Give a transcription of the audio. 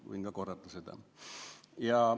Võin ka korrata seda.